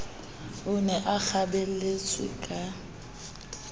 o ne a kgabelletswe ka